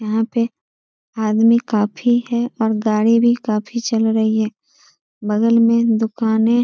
यहाँ पे आदमी काफी है और गाड़ी भी काफी चल रही है। बगल में दुकानें --